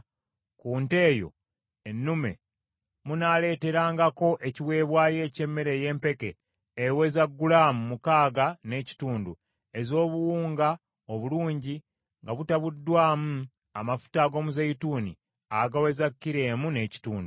ku nte eyo ennume munaaleeterangako ekiweebwayo eky’emmere ey’empeke eweza gulaamu mukaaga n’ekitundu ez’obuwunga obulungi nga mutabuddwamu amafuta ag’omuzeeyituuni agaweza kilo emu n’ekitundu.